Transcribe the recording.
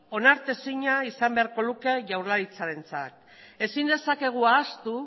onartezina izan beharko luke jaurlaritzarentzat ezin dezakegu ahaztu